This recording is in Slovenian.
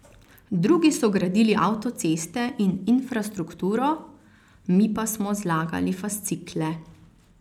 Drugi so gradili avtoceste in infrastrukturo, mi pa smo zlagali fascikle.